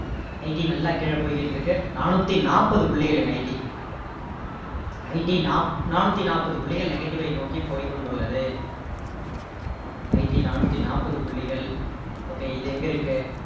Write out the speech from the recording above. IT நல்லா கீழ போய்கிட்டு இருக்கு நானூத்தி நாற்பது புள்ளிகள்ங்க IT IT நானூத்தி நாற்பது புள்ளிகள் negative ஐ நோக்கி போய் கொண்டுள்ளது IT நானூத்தி நாற்பது புள்ளிகள் okay இது எங்க இருக்கு